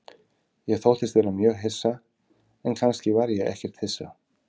Ég þóttist vera mjög hissa, en kannski var ég ekkert hissa.